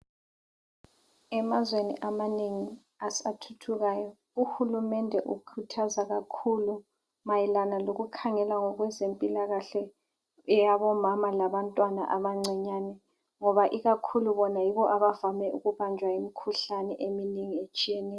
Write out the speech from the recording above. Emazweni amanengi asathuthukayo uhulumende ukhuthaza kakhuku mayelana lokukhangela ngokwezempilakahle yabomama labantwana abancinyane ngoba ikakhulu bona yibo abavame ukubanjwa yimikhuhlane eminengi etshiyeneyo.